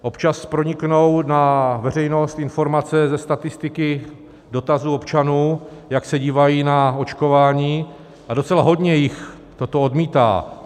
Občas proniknou na veřejnost informace ze statistiky dotazů občanů, jak se dívají na očkování, a docela hodně jich toto odmítá.